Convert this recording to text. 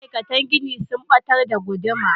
Ma'aikatan gini sun batar da guduma.